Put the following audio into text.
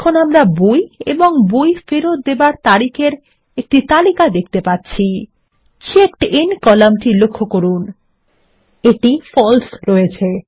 এবং আমরা বই এবং বই ফেরত দেবার তারিখ এর একটি তালিকা দেখতে পাচ্ছি এবং চেকডিন কলাম টি লক্ষ্য করুন এটি ফালসে রয়েছে